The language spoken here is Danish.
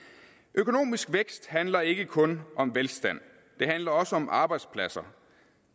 økonomisk vækst handler ikke kun om velstand det handler også om arbejdspladser